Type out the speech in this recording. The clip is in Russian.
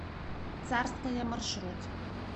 царская маршрут